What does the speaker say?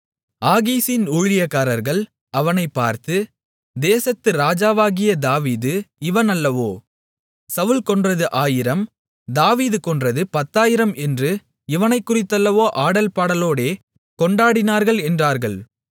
ஆகீசின் ஊழியக்காரர்கள் அவனைப் பார்த்து தேசத்து ராஜாவாகிய தாவீது இவன் அல்லவோ சவுல் கொன்றது 1000 தாவீது கொன்றது 10000 என்று இவனைக் குறித்தல்லவோ ஆடல் பாடலோடே கொண்டாடினார்கள் என்றார்கள்